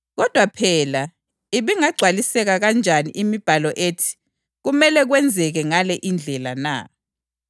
Kodwa phela ibingagcwaliseka kanjani imibhalo ethi kumele kwenzeke ngale indlela na?”